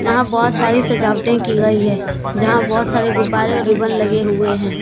यहां बहोत सारी सजावटे की गई है जहां बहोत सारे गुब्बारे और रीबन लगे हुए हैं।